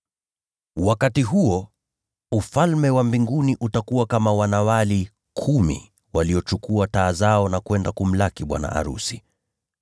“Wakati huo, Ufalme wa Mbinguni utakuwa kama wanawali kumi waliochukua taa zao na kwenda kumlaki bwana arusi.